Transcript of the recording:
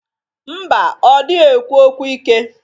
Mba, ọ dịghi ekwu okwu ike.